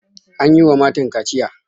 An yi wa matan kaciya.